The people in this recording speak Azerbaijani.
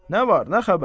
Nə var nə xəbər?